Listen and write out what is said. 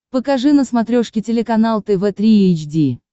покажи на смотрешке телеканал тв три эйч ди